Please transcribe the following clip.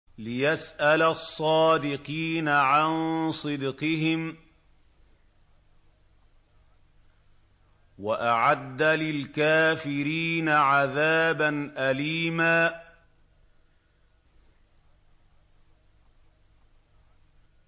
لِّيَسْأَلَ الصَّادِقِينَ عَن صِدْقِهِمْ ۚ وَأَعَدَّ لِلْكَافِرِينَ عَذَابًا أَلِيمًا